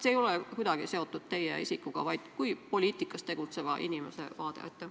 See ei ole kuidagi seotud teie isikuga, vaid kui poliitikas tegutseva inimese vaade?